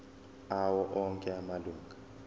awo onke amalunga